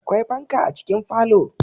Akwai fanka a cikin falo